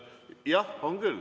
Jah, on küll.